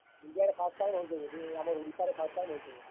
India ରେ first time ହଉଛେ ବୋଧେ, ଆମର୍ ଓଡିଶାରେ first time ହେଉଛେ ବୋଧେ।